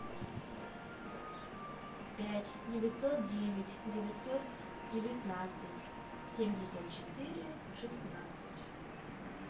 пять девятьсот девять девятьсот девятнадцать семьдесят четыре шестнадцать